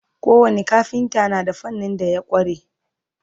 ko wani kafinta na da fannin da ya kware